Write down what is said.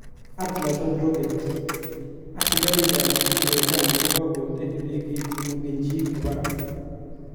Atlas V rocket:asikarik kap merekani kokonde idegeit nemongen chi kwo barak.